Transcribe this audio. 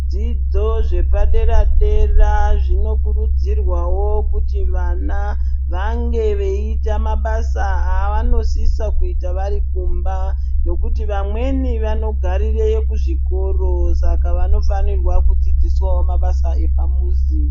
Zvidzidzo zvepaderdera zvinokuridzirwawo kuti vana vange veita mabasa avanosisa kuita vari kumba, ngekuti vamweni vanogarire kuzvikoro saka vanofanire kudzidziswawo mabasa epamuzi.